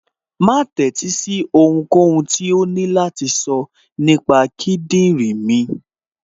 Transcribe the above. Má tẹ́sí sí ohunkóhun tó ní láti sọ nípa kíndìnrín mi